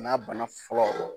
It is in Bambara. N'a bana fɔlɔ.